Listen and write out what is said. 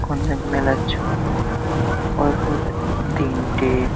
কোনো এক মেলার ছবি পরপর তি তিনটে --